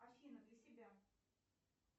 афина для себя